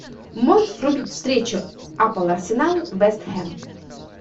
можешь врубить встречу апл арсенал вест хэм